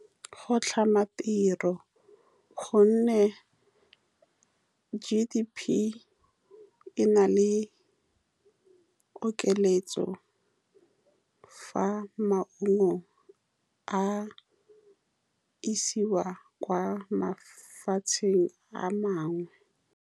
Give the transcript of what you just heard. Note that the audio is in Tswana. Go tlhama tiro, ka gonne G_D_P e na le okeletso, fa maungo a isiwa kwa mafatsheng a mangwe.